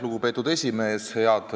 Lugupeetud esimees!